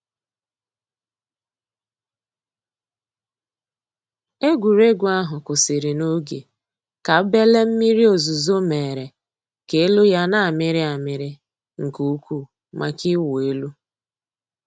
Ègwùrégwú àhú́ kwụ́sị́rị́ n'oge kà òbèlé m̀mìrí ózùzó mèéré kà èlú yá nà-àmị́rị́ àmị́rị́ nkè ùkwú màkà ị̀wụ́ èlú.